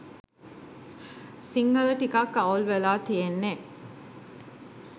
සිංහල ටිකක් අවුල් වෙලා තියෙන්නෙ